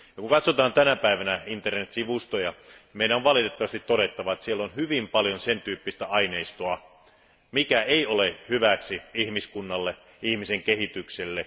Kun katsomme tänä päivänä internet sivustoja, meidän on valitettavasti todettava, että siellä on hyvin paljon sen tyyppistä aineistoa, joka ei ole hyväksi ihmiskunnalle, ihmisen kehitykselle.